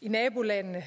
i nabolandene